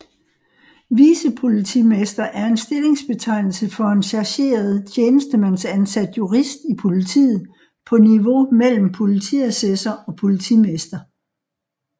Vicepolitimester er en stillingsbetegnelse for en chargeret tjenestemandsansat jurist i politiet på niveau mellem politiassessor og politimester